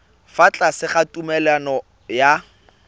fa tlase ga tumalano ya